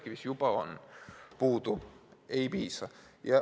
Põlevkivis juba on, aga ei piisa.